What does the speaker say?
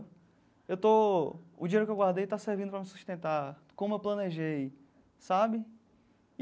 Eu estou o dinheiro que eu guardei está servindo para me sustentar, como eu planejei, sabe?